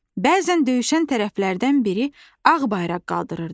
Bəzən döyüşən tərəflərdən biri ağ bayraq qaldırırdı.